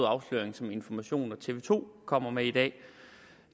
afsløring som information og tv to kommer med i dag